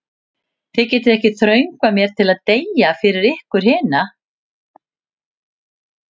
Þið getið ekki þröngvað mér til að deyja fyrir ykkur hina.